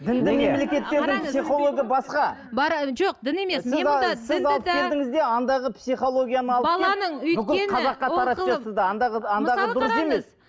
дінді мемлекеттердің психологы басқа жоқ дін емес андағы психологияны алып келіп